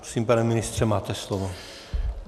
Prosím pane ministře, máte slovo.